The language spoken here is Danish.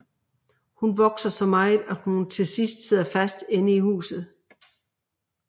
Hun vokser så meget at hun til sidst sidder fast inde i huset